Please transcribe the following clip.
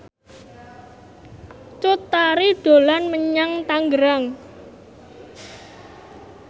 Cut Tari dolan menyang Tangerang